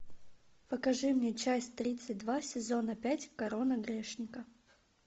покажи мне часть тридцать два сезона пять корона грешника